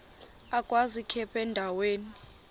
agwaz ikhephu endaweni